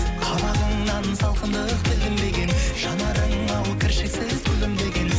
қабағыңнан салқындық білінбеген жанарың ау кіршіксіз күлдімдеген